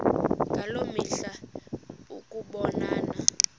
ngaloo mihla ukubonana